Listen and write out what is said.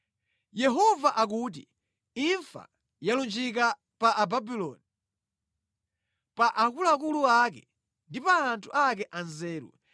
Yehova akuti, “Imfa yalunjika pa Ababuloni, pa akuluakulu ake ndi pa anthu ake a nzeru!